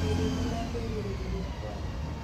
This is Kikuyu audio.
Mĩrimũ na kwĩgirĩrĩria kwayo